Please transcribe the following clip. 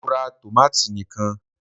Mo ra tòmátò ni kan